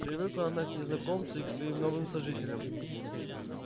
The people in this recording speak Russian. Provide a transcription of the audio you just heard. привыкла она и к незнакомцу и к своим новым сожителям